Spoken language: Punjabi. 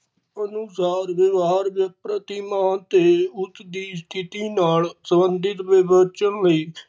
ਅਨੁਸਾਰ ਵਿਵਹਾਰ ਦੇ ਪ੍ਰਤੀ ਮਾਨ ਤੇ ਉਸ ਦੀ ਸਥਿਤੀ ਨਾਲ ਸੰਬੰਧਿਤ ਵਿੱਬਚਨ ਲਈ